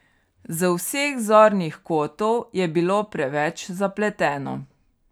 Z vseh zornih kotov je bilo preveč zapleteno.